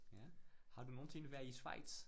Ja, har du nogensinde været i Schweiz?